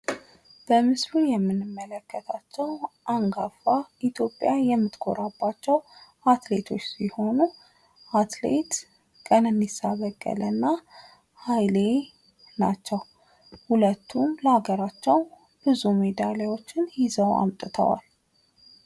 በምስሉ የምንመለከታቸው አንጋፋ ኢትዮጵያ የምታቀርባቸው አትሌቶች ሲሆኑ አትሌት ቀነኒሳ በቀለ እና ኃይሌ ናቸው። ሁለቱ ለአገራቸው ብዙ ሜዳሊያዎችን ይዘው አምጥተዋል።